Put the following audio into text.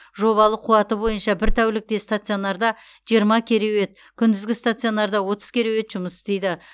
жобалық қуаты бойынша бір тәулікте стационарда жиырма кереует күндізгі стационарда отыз кереует жұмыс істейді